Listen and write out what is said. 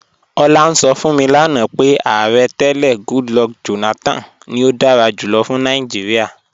Ọ̀lá ǹ sọ̀ fún mi lánà pé Ààrẹ̀ tẹlẹ̀ Goodluck Jonathan ni ó dára júlọ̀ fún Nàìjíríà.